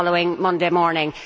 the following Monday morning.